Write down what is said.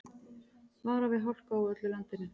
Varað við hálku á öllu landinu